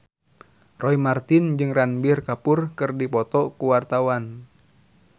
Roy Marten jeung Ranbir Kapoor keur dipoto ku wartawan